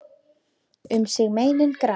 Um sig meinin grafa.